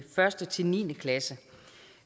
første ni klasse